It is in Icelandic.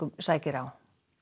sækir á